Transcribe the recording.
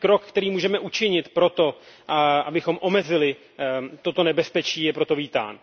Každý krok, který můžeme učinit pro to, abychom omezili toto nebezpečí, je proto vítán.